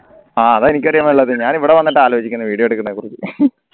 ആഹ് അതാ എനിക്കും അറിയാൻ പാടില്ലാത്ത ഞാൻ ഇവിടെ വന്നിട്ട ആലോചിക്കുന്നു video എടുക്കുന്നതിനെക്കുറിച്ച്